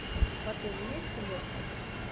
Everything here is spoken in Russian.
в отеле есть электрик